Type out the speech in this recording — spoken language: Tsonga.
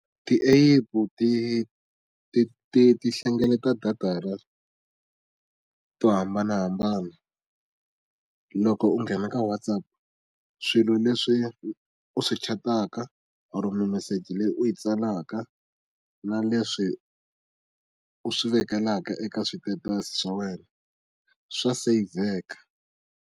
Ti-epu ti ti ti ti hlengeleta data ra to hambanahambana. Loko u nghena ka WhatsApp, swilo leswi u swi chat-aka or-o mimeseji leyi u yi tsalaka na leswi u swi vekelaka eka switetasi swa wena, swa seyivheka.